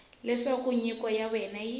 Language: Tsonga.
leswaku nyiko ya wena yi